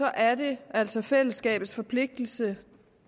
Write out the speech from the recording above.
er det altså fællesskabets forpligtelse